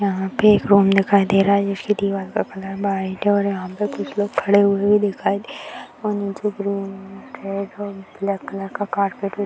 यहाँ पे एक रूम दिखाई दे रहा है जिसकी दीवार का कलर वाइट है और यहाँ पे कुछ लोग खड़े हुए भी दिखाई दे रहे और नीचे ग्रीन मैट है इधर ब्लैक कलर का कारपेट --